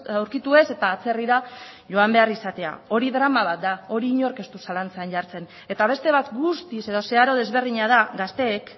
aurkitu ez eta atzerrira joan behar izatea hori drama bat da hori inork ez du zalantzan jartzen eta beste bat guztiz edo zeharo desberdina da gazteek